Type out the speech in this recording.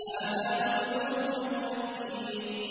هَٰذَا نُزُلُهُمْ يَوْمَ الدِّينِ